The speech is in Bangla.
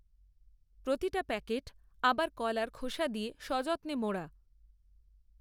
প্রতিটা প্যাকেট আবার কলার খোসা দিয়ে সযত্নে মোড়া।